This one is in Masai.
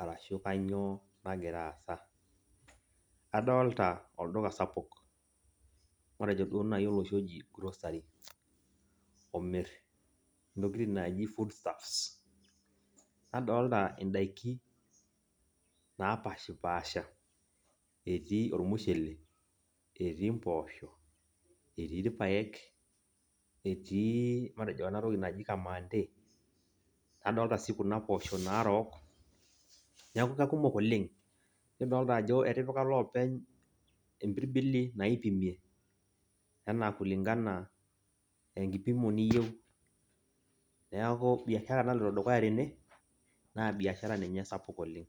arashu kanyioo nagira aasa. Adolta olduka sapuk, matejo duo nai oloshi oji grocery, omir intokiting naaji food staffs ,nadolta idaiki napashipasha, etii ormushele, etii mpoosho, etii irpaek, etii matejo enatoki naji kamande, nadolta si kuna poosho narook, neeku kakumok oleng. Nidolta ajo etipika iloopeny ipirbili naipimieki. Enaa kulingana enkipimo niyieu. Neeku biashara naloito dukuya tene, naa biashara ninye sapuk oleng.